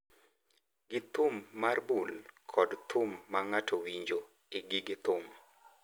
gi thum mar bul kod thum ma ng’ato winjo e gige thum.